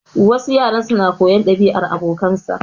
Wasu yaran su na koyar ɗabi'ar abokansa.